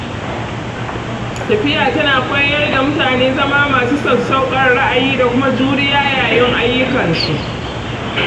Tafiya tana koyar da mutane zama masu sassauƙan ra'ayi da kuma juriya yayin ayyukansu.